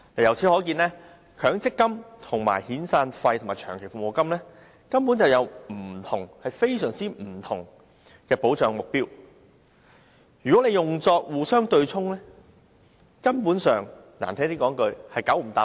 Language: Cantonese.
由此可見，強積金與遣散費及長期服務金根本有非常不同的保障目標，如果互相對沖，粗俗一點的說法是"九唔搭八"。